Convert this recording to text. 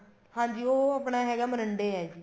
ਹਾਂਜੀ ਉਹ ਆਪਣਾ ਹੈਗਾ ਮੋਰਿੰਡੇ ਹੈ ਜੀ